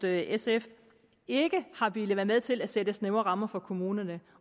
at sf ikke har villet være med til at sætte snævre rammer for kommunerne